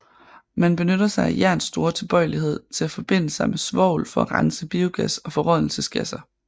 Man benytter sig af jerns store tilbøjelighed til at forbinde sig med svovl for at rense biogas og forrådnelsesgasser